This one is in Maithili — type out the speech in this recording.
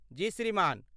जी श्रीमान